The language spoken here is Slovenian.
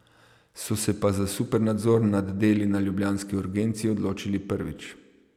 So se pa za supernadzor nad deli na ljubljanski urgenci odločili prvič.